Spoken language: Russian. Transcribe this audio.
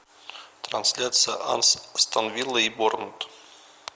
трансляция астон виллы и борнмут